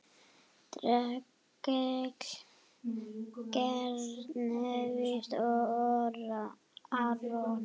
Rakel, Karen, Davíð og Aron.